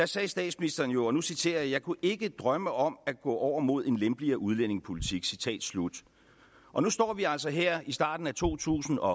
sagde statsministeren jo og nu citerer jeg jeg kunne ikke drømme om at gå over mod en lempeligere udlændingepolitik og nu står vi altså her i starten af to tusind og